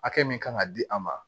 Hakɛ min kan ka di a ma